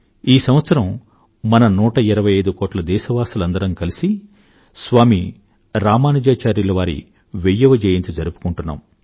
ఈ సంవత్సరం మన 125 కోట్ల దేశవాసులందరమూ కలిసి స్వామీ రామానుజాచార్యుల వారి వెయ్యవ జయంతి జరుపుకుంటున్నాం